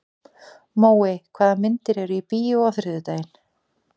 Móey, hvaða myndir eru í bíó á þriðjudaginn?